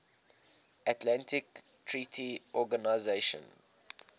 atlantic treaty organisation